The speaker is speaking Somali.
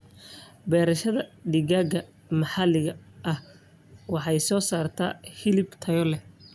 Beerashada digaaga maxaliga ahi waxay soo saartaa hilib tayo leh.